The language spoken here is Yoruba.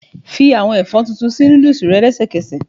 Fi àwọn ẹ̀fọ́ tuntun sí noodles rẹ lẹ́sẹ̀kẹsẹ̀.